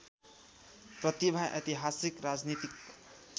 प्रतिभा ऐतिहासिक राजनीतिक